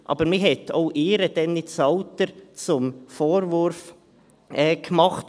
Aber man hatte ihr das Alter nicht zum Vorwurf gemacht.